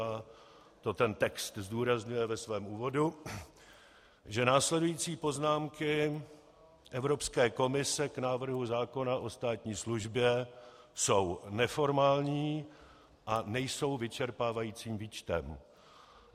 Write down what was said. a to ten text zdůrazňuje ve svém úvodu -, že následující poznámky Evropské komise k návrhu zákona o státní službě jsou neformální a nejsou vyčerpávajícím výčtem.